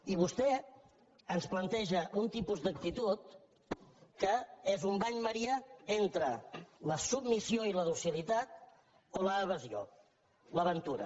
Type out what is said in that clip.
i vostè ens planteja un tipus d’actitud que és un bany maria entre la submissió i la docilitat o l’evasió l’aventura